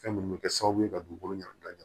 Fɛn minnu bɛ kɛ sababu ye ka dugukolo ɲagami